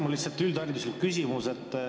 Mul on lihtsalt üldhariduslik küsimus.